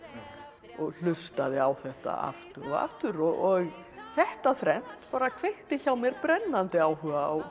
og hlustaði á þetta aftur og aftur og þetta þrennt kveikti hjá mér brennandi áhuga á gömlu